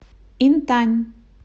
интань